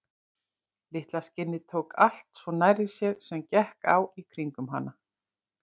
Litla skinnið tók allt svo nærri sér sem gekk á í kringum hana.